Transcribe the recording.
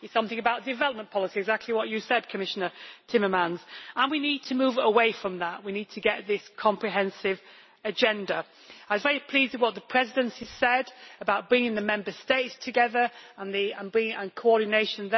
It is something about development policy, exactly what you said, Commissioner Timmermans, and we need to move away from that, we need to get this comprehensive agenda. I was pleased with what the Presidency said about bringing the Member States together and their coordination.